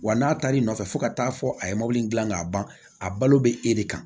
Wa n'a taar'i nɔfɛ fo ka taa fɔ a ye mobili dilan k'a ban a balo bɛ e de kan